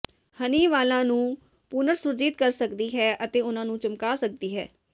ਹਨੀ ਵਾਲਾਂ ਨੂੰ ਪੁਨਰ ਸੁਰਜੀਤ ਕਰ ਸਕਦੀ ਹੈ ਅਤੇ ਉਨ੍ਹਾਂ ਨੂੰ ਚਮਕਾ ਸਕਦੀ ਹੈ